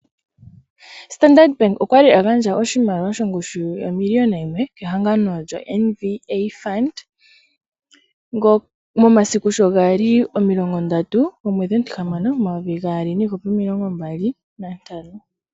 Standard bank okwali a gandja oshimaliwa shongushu yomiliona yimwe kehangano lyoMVA fund momasiku sho gali omilongo ndatu yomwedhi omutihamano 2025.